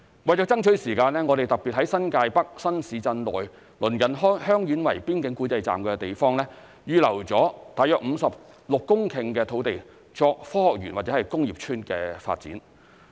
為了爭取時間，我們特別在新界北新市鎮內鄰近香園圍邊境管制站的地方，預先預留了約56公頃的土地作科學園或工業邨發展。